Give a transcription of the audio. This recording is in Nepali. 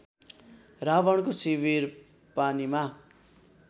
रावणको शिविर पानीमा